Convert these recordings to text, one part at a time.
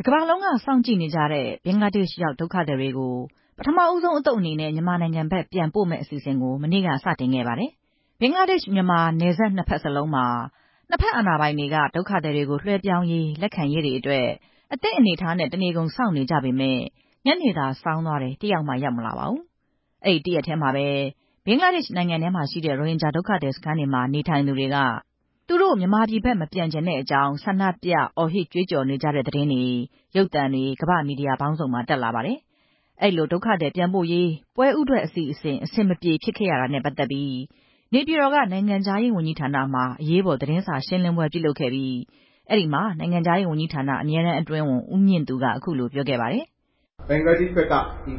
ကမ္ဘာလုံးက စောင့်ကြည့်နေကြတဲ့ ဘင်္ဂလားဒေ့ရှ်ရောက် ဒုက္ခသည်တွေကို ပထမဦးဆုံးအသုတ်အနေနဲ့ မြန်မာနိုင်ငံဘက်ပြန်ပို့မယ့် အစီအစဉ်ကို နိုဝင်ဘာလက စတင်ခဲ့ပါတယ်။ ဘင်္ဂလားဒေ့ရှ်-မြန်မာ နယ်စပ်နှစ်ဘက်လုံးမှာ နှစ်ဘက်အာဏာပိုင်တွေက ဒုက္ခသည်တွေကိုလွှဲပြောင်းရေး၊ လက်ခံရေးတွေအတွက် အသင့်အနေအထားနဲ့ တနေကုန်စောင့်နေကြပေမယ့် ညနေသာစောင်းသွားတယ် ဒုက္ခသည်တယောက်မှ မရောက်လာပါဘူး။ အဲဒီတရက်ထဲမှာပဲ ဘင်္ဂလားဒေ့ရှ်နိုင်ငံထဲမှာရှိတဲ့ ရိုဟင်ဂျာဒုက္ခသည်စခန်းတွေမှာ နေထိုင်သူတွေက သူတို့ မြန်မာပြည်ဘက် မပြန်ချင်တဲ့အကြောင်း ဆန္ဒပြ အော်ဟစ်ကြွေးကြော်နေကြတဲ့ သတင်းတွေ ရုပ်သံတွေ ကမ္ဘာ့ မီဒီယာပေါင်းစုံမှာ တက်လာပါတယ်။ အဲဒီလို ဒုက္ခသည်ပြန်ပို့ရေး ပွဲဦးထွက်အစီအစဉ် အဆင်မပြေဖြစ်ခဲ့ရတာနဲ့ ပတ်သက်ပြီး နေပြည်တော်က နိုင်ငံခြားရေးဝန်ကြီးဌာနမှာ အရေးပေါ်သတင်းစာရှင်းလင်းပွဲ ပြုလုပ်ခဲ့ပြီး အဲဒီမှာ နိုင်ငံခြားရေးဝန်ကြီးဌာန အမြဲတမ်းအတွင်းဝန် ဦးမြင့်သူ က ခုလိုပြောခဲ့ပါတယ်။ "ဘင်္ဂလားဒေ့ရှ်ဘက်က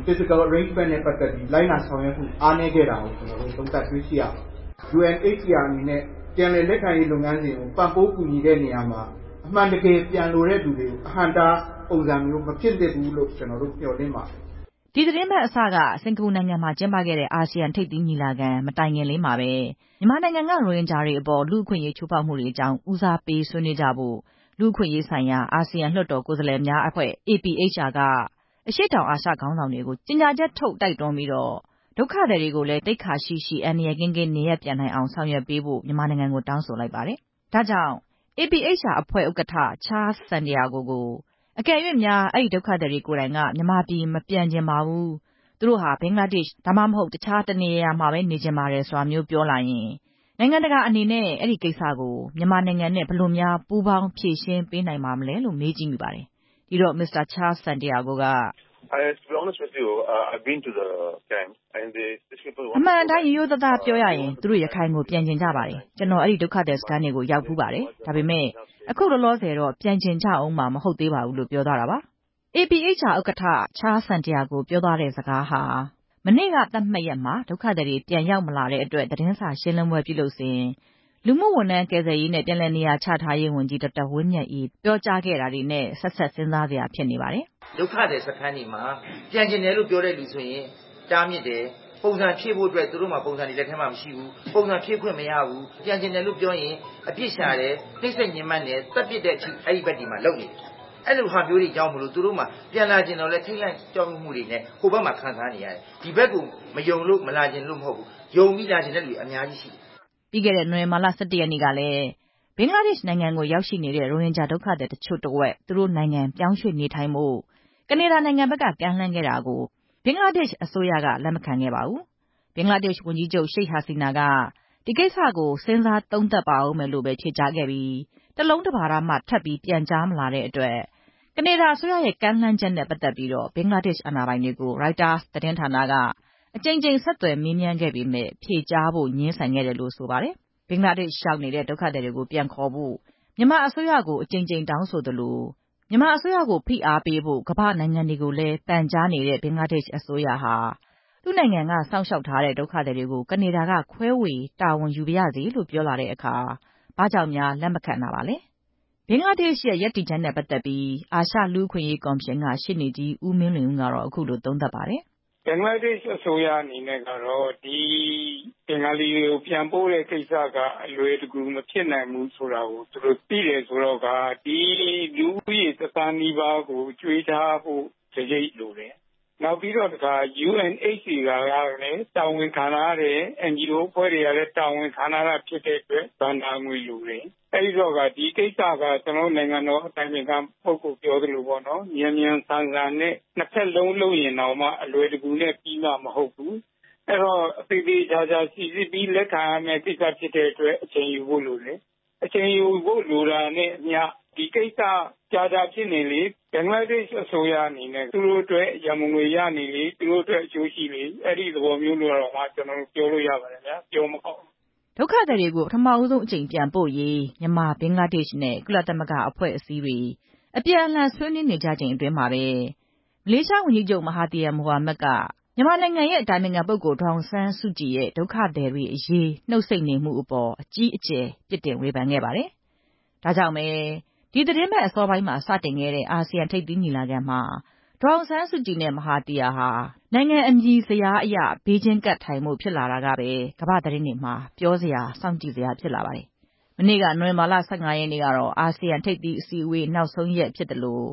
Physical arrangement နဲ့ ပတ်သက်ပြီး လိုက်နာဆောင်ရွက်မှု အားနည်းခဲ့တာကို ကျနော်တို့ တွေ့ရှိရပါတယ်။ UNHCR အနေနဲ့ ပြန်လည်လက်ခံရေး အစီအစဉ်ကို ပံ့ပိုးကူညီတဲ့နေရာမှာ အမှန်တကယ်ပြန်လိုတဲ့သူတွေကို အဟန့်အတား မဖြစ်သင့်ဘူးလို့ ကျနော်တို့ မျှော်လင့်ပါတယ်" ဒီသီတင်းပတ်အစက စင်္ကာပူနိုင်ငံမှာ ကျင်းပခဲ့တဲ့ အာဆီယံထိပ်သီးညီလာခံ မတိုင်ခင်လေးမှာပဲ မြန်မာနိုင်ငံ က ရိုဟင်ဂျာတွေအပေါ်လူ့အခွင့်အရေး ချိုးဖောက်မှုတွေ အကြောင်းကို ဦးစားပေးဆွေးနွေးကြဖို့ လူ့အခွင့်အရေးဆိုင်ရာ အာဆီယံလွှတ်တော် ကိုယ်စားလှယ်များအဖွဲ့ APHR က အရှေ့တောင်အာရှခေါင်းဆောင်တွေကို ကြေညာချက်ထုတ် တိုက်တွန်းပြီး ဒုက္ခသည်တွေကိုလည်း သိက္ခာရှိရှိ အန္တရာယ်ကင်းကင်း နေရပ်ပြန်နိုင်အောင် ဆောင်ရွက်ပေးဖို့ မြန်မာနိုင်ငံကို တောင်းဆိုလိုက်ပါတယ်။ ဒါကြောင့် APHR အဖွဲ့ ဥက္ကဋ္ဌ ချားလ်စ်စန်တီယာဂို ကို အကယ်၍များ အဲဒီဒုက္ခသည်တွေကိုယ်တိုင်က မြန်မာပြည်မပြန်ချင်ပါဘူး။ သူတို့ ဘင်္ဂလားဒေ့ရှ် ဒါမှမဟုတ် တခြားတနေရာရာမှာပဲ နေချင်ပါတယ်ဆိုတာမျိုး ပြောလာရင် နိုင်ငံတကာအနေနဲ့ အဲဒီကိစ္စကို မြန်မာနိုင်ငံနဲ့ ဘယ်လိုများ ပူးပေါင်း ဖြေရှင်းပေးနိုင်ပါမလဲလို့ မေးကြည့်မိပါတယ်။ ဒီတော့ မစ္စတာ ချားစ်စန်တီရာဂိုက.. "အမှန်အတိုင်း ရိုးရိုးသားသားပြောရရင် သူတို့ ရခိုင်ကို ပြန်ချင်ကြပါတယ်။ ကျနော် အဲဒီဒုက္ခသည်စခန်းတွေကို ရောက်ဖူးပါတယ်။ ဒါပေမယ့် အခုလောလောဆယ်တော့ ပြန်ချင်ကြဦးမှာ မဟုတ်သေးပါဘူးလို့ ပြောသွားတာပါ" အာဆီယံလွှတ်တော် ကိုယ်စားလှယ်များအဖွဲ့ APHR ဥက္ကဋ္ဌ ပြောသွားသလို ဒုက္ခသည်တွေက ပြန်ချင်ကြပေမယ့် လောလောဆယ်တော့ မဟုတ်ပါဘူးဆိုတဲ့စကားဟာ မနေ့က သတ်မှတ်ရက်မှာ ဒုက္ခသည်တွေ ပြန်မရောက်လာတဲ့အတွက် သတင်းစာရှင်းလင်းပွဲပြုလုပ်စဉ် လူမှုဝန်ထမ်း ကယ်ဆယ်ရေးနဲ့ ပြန်လည်နေရာချထားရေးဝန်ကြီး ဒေါက်တာဝင်းမြတ်အေး ပြောကြားခဲ့တာတွေနဲ့ ဆက်စပ် စဉ်းစားစရာဖြစ်နေပါတယ်။ "ဒုက္ခသည်စခန်းတွေမှာ ပြန်လာချင်တယ်လို့ ပြောတဲ့သူတွေဆိုရင် တားမြစ်တယ်။ ပုံစံဖြည့်ဖို့အတွက် ပုံစံတွေ သူတို့လက်ထဲမှာ မရှိဘူး။ ပုံစံဖြည့်ခွင့်မရဘူး။ ဘယ်လိုမှ မရနိုင်ဘူး။ ပြန်ချင်တယ်လို့ ပြောရင် အပြစ်ရှာတယ်။ နှိပ်စက်ညှဉ်းပန်းတယ်။ သတ်ပစ်တဲ့အထိ အဲ့ဘက်တွေမှာ လုပ်နေတယ်။ အဲလိုဟာမျိုးတွေကြောင့်မို့ သူတို့မှာ ပြန်လာချင်သော်လည်း ထိတ်လန့်ကြောက်ရွံ့မှုတွေနဲ့ ဟိုဘက်မှာခံစားနေရတယ်။ ဒီဘက်ကို မယုံလို့ မလာချင်တာမဟုတ်ဘူး။ ဒီဘက်ကိုယုံပြီး လာချင်တဲ့သူတွေ အများကြီးရှိတယ်" ပြီးခဲ့တဲ့ နိုဝင်ဘာလ ၁၁ ရက်နေ့ကလည်း ဘင်္ဂလားဒေ့ရှ်နိုင်ငံကိုရောက်ရှိနေတဲ့ ရိုဟင်ဂျာဒုက္ခသည်တချို့တဝက်ကို သူတို့နိုင်ငံ ပြောင်းရွေ့နေထိုင်ဖို့ ကနေဒါနိုင်ငံက ကမ်းလှမ်းခဲ့တာကို ဘင်္ဂလားဒေ့ရှ်အစိုးရက လက်မခံခဲ့ပါဘူး။ ဘင်္ဂလားဒေ့ရှ် ဝန်ကြီးချုပ် ရှိတ်ဟာစီနာက ဒီကိစ္စကို စဉ်းစားသုံးသပ်ပါဦးမယ်လို့ပဲ ဖြေကြားခဲ့ပြီး တလုံးတပါဒမှ ထပ်ပြီးပြန်ကြားမလာတဲ့အတွက် ကနေဒါအစိုးရရဲ့ ကမ်းလှမ်းချက်နဲ့ ပတ်သက်ပြီး ဘင်္ဂလားဒေ့ရှ် အာဏာပိုင်တွေကို ရိုက်တာသတင်းဌာနက အကြိမ်ကြိမ် ဆက်သွယ်မေးမြန်းခဲ့ပေမယ့် ဖြေကြားဖို့ ငြင်းဆိုတယ်လို့ သိရပါတယ်။ ဘင်္ဂလားဒေ့ရှ်ရောက်နေတဲ့ ဒုက္ခသည်တွေကို ပြန်ခေါ်ဖို့ မြန်မာအစိုးရကို အကြိမ်ကြိမ်တောင်းဆိုသလို မြန်မာ အစိုးရကို ဖိအားပေးဖို့ ကမ္ဘာ့နိုင်ငံတွေကိုလည်း ပန်ကြားနေတဲ့ ဘင်္ဂလားဒေ့ရှ်အစိုးရဟာ သူ့နိုင်ငံကစောင့်ရှောက်ထားတဲ့ ဒုက္ခသည်တွေကို ကနေဒါက ခွဲဝေတာဝန်ယူပါရစေလို့ ပြောလာတဲ့အခါ ဘာဖြစ်လို့ လက်မခံခဲ့တာပါလဲ။ ဘင်္ဂလားဒေ့ရှ်ရဲ့ရပ်တည်ချက်နဲ့ ပတ်သက်ပြီး အာရှလူ့အခွင့်အရေးကော်မရှင်က ရှေ့နေကြီးဦးမင်းလွင်ဦး ကတော့ ခုလို သုံးသပ်ပါတယ်။ "ဘင်္ဂလားဒေ့ရှ်အစိုးရအနေနဲ့က ဒီဘင်္ဂ ါလီတွေကို ပြန်ပို့တဲ့ကိစ္စက အလွယ်တကူမဖြစ်နိုင်ဘူး ဆိုတာကို သူတို့သိ တယ်ဆိုတော့ကာ ဒီလူဦးရေတသန်းနီးပါးကို ကျွေးထားဖို့ စရိတ်လိုတယ်။ ပြီးတော့ UNHCR ကလည်း တာဝန်ခံထားတယ်။ NGO အဖွဲ့တွေကလည်း တာဝန်ခံထားတာ ဖြစ်တဲ့အတွက် ဘဏ္ဍာငွေလိုတယ်။ အဲတော့ကာ ဒီကိစ္စက နိုင်ငံတော်အတိုင်ပင်ခံပုဂ္ဂ္ဂိုလ် ပြောသလို မြန်မြန်ဆန်နဲ့ နှစ်ဘက်လုံး လုပ်ရင်တောင်မှ အလွယ်တကူပြီးမှာမဟုတ်ဘူး။ သေသေချာချာစီစစ်ပြီး လက်ခံရမှာ ဖြစ်တဲ့အတွက် အချိန်ယူဖို့လိုတယ်။ အချိန်ယူဖို့ လိုတာနဲ့အမျှ ဒီကိစ္စ ကြာကြာဖြစ်နေလေ သူတို့အတွက်ရန်ပုံငွေရနေလေ၊ သူတို့အတွက်အကျိုးရှိနေလေ၊ အဲဒီသဘောမျိုးလို့တောင်မှ ပြောလို့ရပါတယ်ဗျာ ပြောမကောင်းလို့" ဒုက္ခသည်တွေကို ပထမဆုံအကြိမ်ပြန်ပို့ရေး မြန်မာ၊ ဘင်္ဂလားဒေ့ရှ်နဲ့ ကုလသမဂ္ဂအဖွဲ့အစည်းတွေ အပြန်အလှန် ဆွေးနွေးနေကြချိန်အတွင်းမှာပဲ မလေးရှားဝန်ကြီးချုပ် မဟာသီယာမိုဟာမက်က မြန်မာအတိုင်ပင်ခံပုဂ္ဂိုလ် ဒေါ်အောင်ဆန်းစုကြည်ရဲ့ ဒုက္ခသည်တွေအရေး နှုတ်ဆိတ်နေမှုအပေါ် အကြီးအကျယ် ပြစ်တင်ဝေဖန်ခဲ့ပါတယ်။ ဒါကြောင့်ပဲ ဒီသီတင်းပတ် အစောပိုင်းမှာ စတင်ခဲ့တဲ့ အာဆီယံထိပ်သီးညီလာခံမှာ ဒေါ်အောင်ဆန်းစုကြည်နဲ့ မဟာသီယာဟာ နိုင်ငံအမည်စဉ်ဇယားအရ ဘေးချင်းကပ်ထိုင်ဖို့ ဖြစ်လာတာကပဲ ကမ္ဘာ့သတင်းတွေမှာ ပြောစရာ၊ စောင့်ကြည့်စရာဖြစ်လာပါတယ်။ မနေ့က နိုဝင်ဘာ ၁၅ရက်နေ့ကတော့ အာဆီယံထိပ်သီးအစည်းအဝေး နောက်ဆုံးရက်ဖြစ်သလို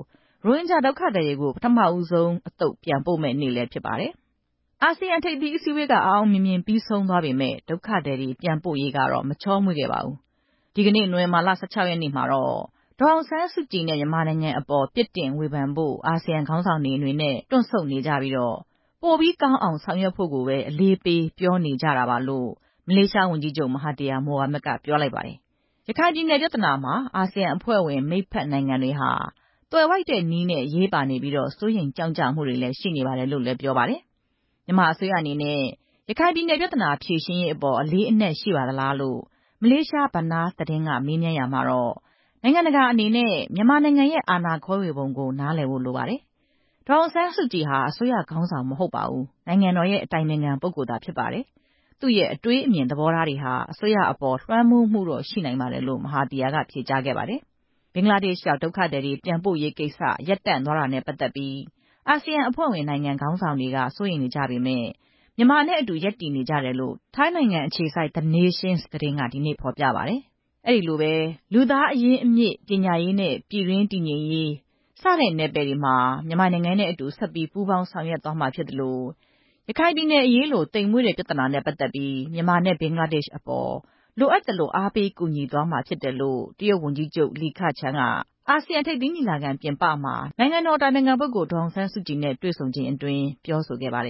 ရိုဟင်ဂျာဒုက္ခသည်တွေကို ပထမဆုံးအသုတ် ပြန်ပို့မယ့်နေ့လည်းဖြစ်ပါတယ်။ အာဆီယံထိပ်သီးအစည်းအဝေးက အောင်အောင်မြင်မြင်ပြီးဆးုံသွားပေမယ့် ဒုက္ခသည်တွေ ပြန်ပို့ရေးကတော့ မချောမွေ့ခဲ့ပါဘူး။ ဒီကနေ့ နိုဝင်ဘာ ၁၆ ရက်နေ့မှာတော့ ဒေါ်အောင်ဆန်းစုကြည်နဲ့ မြန်မာနိုင်ငံအပေါ် ပြစ်တင်ဝေဖန်ဖို့ အာစီယံခေါင်းဆောင်တွေအနေနဲ့ တွန့်ဆုတ်နေကြပြီး ပိုပြီးကောင်းမွန်အောင် ဆောင်ရွက်ဖို့ကိုပဲ အလေးပေးပြောနေကြတာပါလို့ မလေးရှားဝန်ကြီးချုပ် မဟာသီယာ မိုဟာမက် ပြောလိုက်ပါတယ်။ ရခိုင်ပြည်နယ် ပြဿနာမှာ အာဆီယံအဖွဲ့ဝင် မိတ်ဖက်နိုင်ငံတွေဟာ သွယ်ဝိုက်တဲ့နည်းနဲ့ အရေးပါနေပြီး စိုးရိမ်ကြောင့်ကြမှုတွေလည်း ရှိနေကြတယ်လို့လည်း ဆိုပါတယ်။ မြန်မာအစိုးရအနေနဲ့ ရခိုင်ပြည်နယ်ပြဿနာ ဖြေရှင်းရေးအပေါ် အလေးအနက်ရှိပါသလားလို့ မလေးရှား ဘာနား သတင်းဌာနက မေးမြန်းရာမှာတော့ နိုင်ငံတကာအနေနဲ့ မြန်မာနိုင်ငံရဲ့ အာဏာခွဲဝေထားပုံကို နားလည်ဖို့လိုပါတယ်။ ဒေါ်အောင်ဆန်းစုကြည်ဟာ အစိုးရခေါင်းဆောင် မဟုတ်ပါဘူး။ နိုင်ငံတော်အတိုင်ပင်ခံပုဂ္ဂိုလ်သာဖြစ်ပါတယ်။ သူ့ရဲ့ အတွေးမြင်သဘောထားတွေဟာ အစိုးရအပေါ် လွှမ်းမိုးမှုတော့ ရှိနိုင်ပါတယ်လို့ မဟာသီယာက ဖြေကြားခဲ့ပါတယ်။ ဘင်္ဂလားဒေ့ရှ်ရောက် ဒုက္ခသည်တွေ ပြန်ပို့ရေးကိစ္စ ရပ်တန့်သွားတာနဲ့ ပတ်သက်ပြီး အာဆီယံအဖွဲ့ဝင် နိုင်ငံခေါင်းဆောင်တွေက စိုးရိမ်ကြပေမယ့် မြန်မာနဲ့အတူ ရပ်တည်နေကြတယ်လို့ ထိုင်းနိုင်ငံအခြေစိုက် နေးရှင်းသတင်းက ဖော်ပြပါတယ်။ အဲဒီလိုပဲ လူသားအရင်းအမြစ်၊ ပညာရေးနဲ့ ပြည်တွင်းတည်ငြိမ်ရေး စတဲ့နယ်ပယ်တွေမှာ မြန်မာနိုင်ငံနဲ့အတူ ဆက်ပြီးပူးပေါင်းဆောင်ရွက်သွားမှာဖြစ်သလို ရခိုင်ပြည်နယ်အရေးလို သိမ်မွေ့တဲ့ပြဿနာနဲ့ ပတ်သက်ပြီး မြန်မာနဲ့ ဘင်္ဂလားဒေ့ရှ်အပေါ် လိုအပ်သလို အားပေးကူညီသွားမှာ ဖြစ်တယ်လို့ တရုတ်ဝန်ကြီးချုပ် လီခချန်းက အာဆီယံထိပ်သီးညီလာခံပြင်ပမှာ နိုင်ငံတော်အတိုင်ပင်ခံပုဂ္ဂိုလ် ဒေါ်အောင်ဆန်းစုကြည်နဲ့ တွေ့ဆုံချိန်မှာ ပြောဆိုခဲ့ပါတယ်